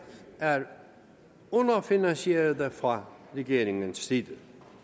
er underfinansierede fra regeringens side